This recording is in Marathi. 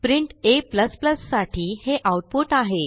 प्रिंट a साठी हे आऊटपुट आहे